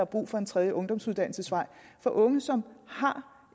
brug for en tredje ungdomsuddannelsesvej for unge som har